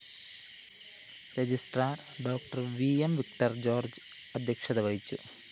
registrar ഡോ V M Victor George അധ്യക്ഷത വഹിച്ചു